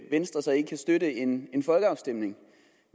venstre ikke kan støtte en en folkeafstemning